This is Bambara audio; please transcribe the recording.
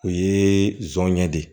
O ye zɔnɲɛ de ye